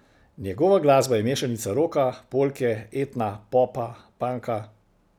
Njegova glasba je mešanica roka, polke, etna, popa, panka.